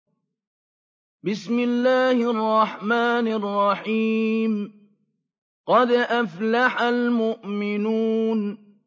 قَدْ أَفْلَحَ الْمُؤْمِنُونَ